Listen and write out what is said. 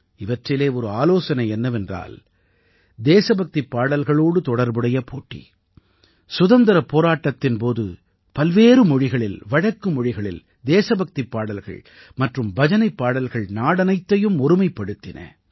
இவற்றிலே ஒரு ஆலோசனை என்னவென்றால் தேசபக்திப் பாடல்களோடு தொடர்புடைய போட்டி சுதந்திரப் போராட்டத்தின் போது பல்வேறு மொழிகளில் வழக்குமொழிகளில் தேசபக்திப் பாடல்கள் மற்றும் பஜனைப்பாடல்கள் நாடனைத்தையும் ஒருமைப்படுத்தின